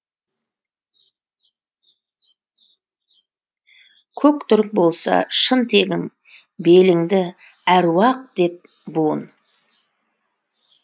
көк түрік болса шын тегің беліңді әруақ деп буын